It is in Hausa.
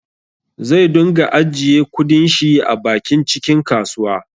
Zai dunga ajjiye kudin shi a bakin cikin kasuwa